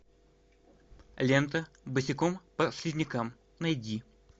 лента босиком по слизнякам найди